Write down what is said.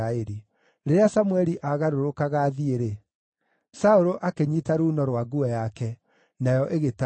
Rĩrĩa Samũeli aagarũrũkaga athiĩ-rĩ, Saũlũ akĩnyiita ruuno rwa nguo yake, nayo ĩgĩtarũka.